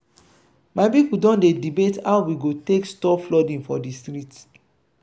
my pipo don dey debate how we go take stop flooding for di street.